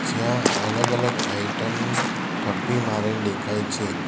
જ્યાં અલગ અલગ આઈટમ ની થપ્પી મારેલ દેખાય છે.